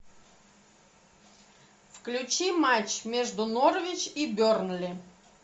включи матч между норвич и бернли